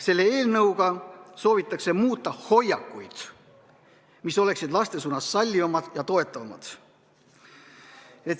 Selle eelnõuga soovitakse muuta hoiakuid, mis oleksid laste suhtes sallivamad ja toetavamad.